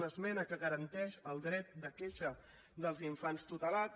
una esmena que garanteix el dret de queixa dels infants tutelats